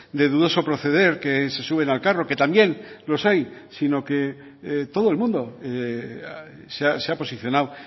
de dudoso proceder que se suben al carro que también los hay sino que todo el mundo se ha posicionado